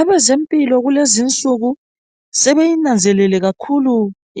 Abezempilo kulezinsuku ,sebeyinanzelele kakhulu